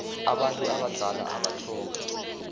abantu abadala abatlhoga